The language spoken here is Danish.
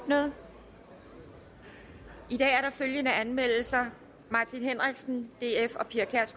åbnet i dag er der følgende anmeldelser martin henriksen